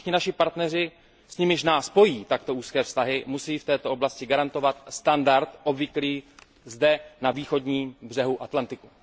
Všichni naši partneři, s nimiž nás pojí takto úzké vztahy, musí v této oblasti garantovat standard obvyklý zde, na východním břehu Atlantiku.